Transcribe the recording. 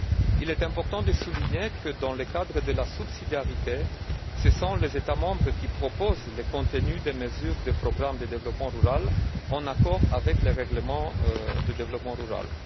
Il est important de souligner que dans le cadre de la subsidiarité, ce sont les États membres qui proposent le contenu des mesures du programme de développement rural en accord avec le règlement de développement rural.